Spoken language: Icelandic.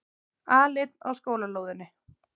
Aleinn á skólalóðinni.